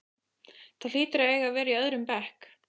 Það hlýtur að eiga að vera í öðrum bekk.